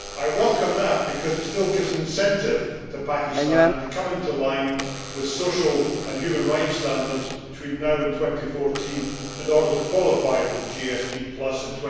I welcome that because it still gives an incentive to Pakistan to come into line with social and human rights standards between now and 2014 in order to qualify for GSP in